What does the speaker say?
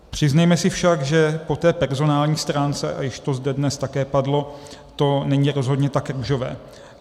Přiznejme si však, že po té personální stránce, a již to zde dnes také padlo, to není rozhodně tak růžové.